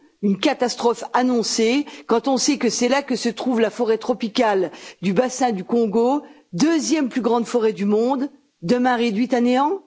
Une catastrophe annoncée, quand on sait que c'est là que se trouve la forêt tropicale du bassin du Congo deuxième plus grande forêt du monde, demain réduite à néant?